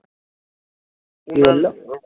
কি বললো?